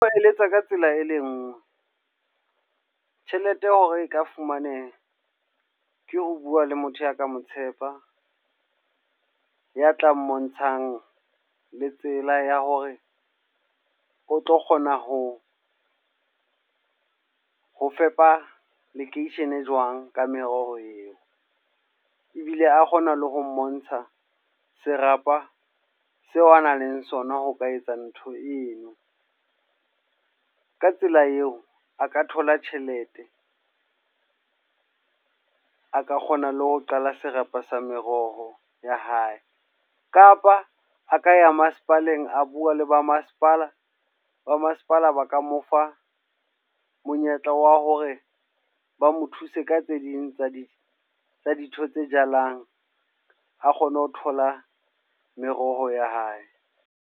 Ba eletsa ka tsela e le nngwe. Tjhelete ya hore e ka fumaneha, ke ho bua le motho ya ka mo tshepa. Ya tla mmontshang le tsela ya hore o tlo kgona ho ho fepa lekeishene jwang ka meroho eo. Ebile a kgona le ho mmontsha serapa seo a nang le sona ho ka etsa ntho eno. Ka tsela eo, a ka thola tjhelete. A ka kgona le ho qala serapa sa meroho ya hae. Kapa a ka ya masepaleng a bua le ba masepala, ba masepala ba ka mofa monyetla wa hore ba mo thuse ka tse ding tsa di dintho tse jalang. A kgone ho thola meroho ya hae.